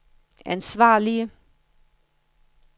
ansvarlige